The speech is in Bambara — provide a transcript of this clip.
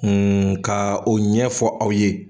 ka o ɲɛfɔ aw ye